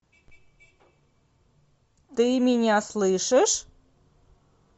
ты меня слышишь